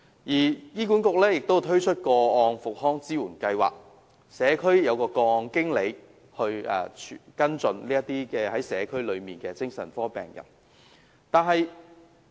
醫管局亦推出個案復康支援計劃，安排社區個案經理負責跟進社區內的精神科病人。